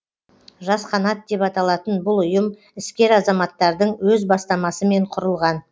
жас қанат деп аталатын бұл ұйым іскер азаматтардың өз бастамасымен құрылған